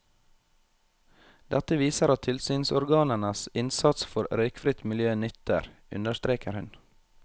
Dette viser at tilsynsorganenes innsats for røykfritt miljø nytter, understreker hun.